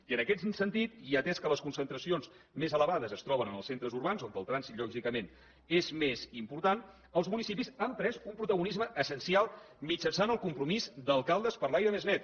i en aquest sentit i atès que les concentracions més elevades es troben en els centres urbans on el trànsit lògicament és més important els municipis han pres un protagonisme essencial mitjançant el compromís d’alcaldes per l’aire més net